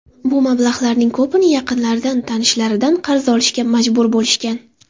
Bu mablag‘larning ko‘pini yaqinlaridan, tanishlaridan qarz olishga majbur bo‘lishgan.